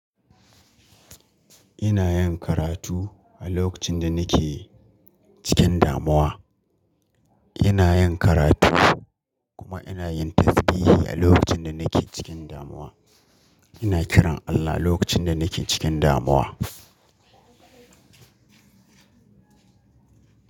Ina yin karatu a lokacin da nake cikin damuwa. Ina yin karatu kuma ina yin tasbihi a lokacin da nake cikin damuwa. Ina kiran Allah lokacin da nake cikin damuwa.